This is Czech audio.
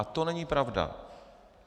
A to není pravda.